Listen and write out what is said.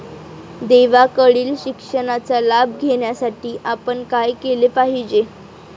देवाकडील शिक्षणाचा लाभ घेण्यासाठी आपण काय केले पाहिजे?